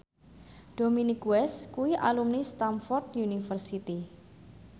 Dominic West kuwi alumni Stamford University